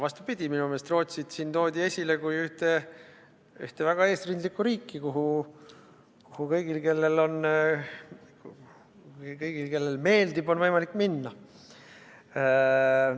Vastupidi, minu meelest Rootsit siin toodi esile kui ühte väga eesrindlikku riiki, kuhu kõigil, kellele meeldib, on võimalik minna.